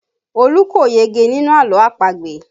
Olu kò yege nínú àlọ́ àpagbè